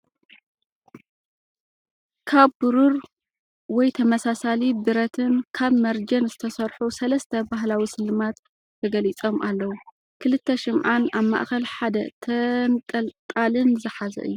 ካብ ብሩር (ወይ ተመሳሳሊ ብረት)ን ካብ መርጀን ዝተሰርሑ ሰለስተ ባህላዊ ስልማት ተገሊጾም ኣለዉ፤ ክልተ ሽምዓን ኣብ ማእከል ሓደ ተንጠልጣልን ዝሓዘ እዩ።